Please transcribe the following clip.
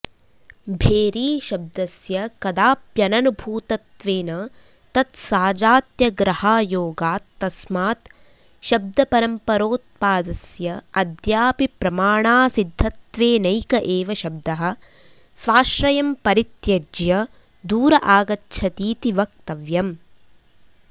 भेरीशब्दस्य कदाप्यननुभूतत्वेन तत्साजात्यग्रहायोगात् तस्मात् शब्दपरम्परोत्पादस्य अद्यापि प्रमाणासिध्दत्वेनैक एव शब्दः स्वाश्रयं परित्यज्य दूर आगच्छतीति वक्तव्यम्